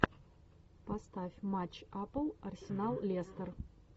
поставь матч апл арсенал лестер